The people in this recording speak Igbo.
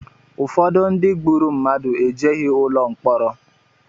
Ụfọdụ ndị gburu mmadụ ejeghị ụlọ mkpọrọ